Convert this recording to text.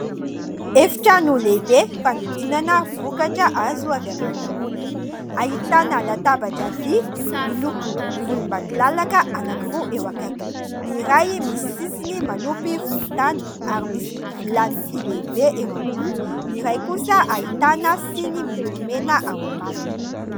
Efitrano lehibe fanodinana vokatra azo avy amin'ny ronono. Ahitana latabatra vy miloko volombakilalaka anankiroa eo akaikiny : ny iray misy sisiny miloko volontany ary misy vilany vy lehibe eo amboniny, ny iray kosa ahitana siny miloko mena eo ambaniny.